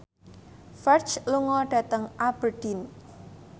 Ferdge lunga dhateng Aberdeen